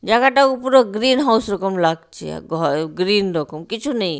জায়গাটা উপরে গ্রিনহাউস রকম লাগছে ঘর গ্রিন রকম কিছু নেই।